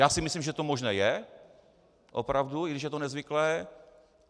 Já si myslím, že to možné je, opravdu, i když je to nezvyklé.